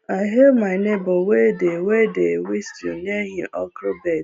i hail my neighbor wey dey wey dey whistle near him okro beds